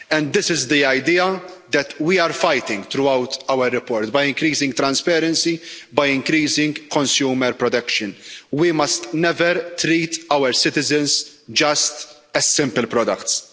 And this is the idea that we are fighting throughout our report, by increasing transparency, by increasing consumer protection we must never treat our citizens just as simple products.